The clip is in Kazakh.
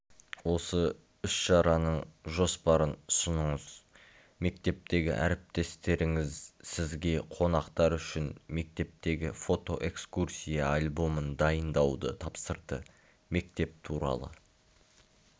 осы іс-шараның жоспарын ұсыныңыз мектептегі әріптестеріңіз сізге қонақтар үшін мектептегі фото-экскурсия альбомын дайындауды тапсырды мектеп туралы